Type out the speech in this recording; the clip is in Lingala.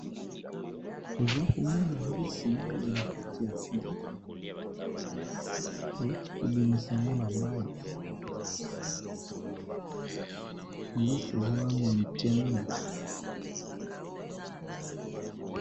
Toza komona mbisi mingi na kati ya filet owuti kobimisa ngo na mayi mbisi eza nano mike mingi.